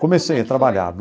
Comecei a trabalhar.